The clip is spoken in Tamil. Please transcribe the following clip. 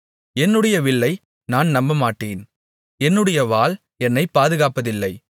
என்னுடைய வில்லை நான் நம்பமாட்டேன் என்னுடைய வாள் என்னை பாதுகாப்பதில்லை